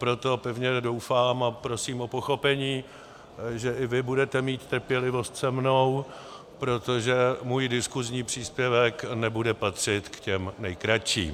Proto pevně doufám a prosím o pochopení, že i vy budete mít trpělivost se mnou, protože můj diskusní příspěvek nebude patřit k těm nejkratším.